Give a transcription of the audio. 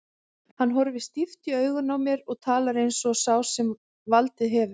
Hann horfir stíft í augun á mér og talar eins og sá sem valdið hefur.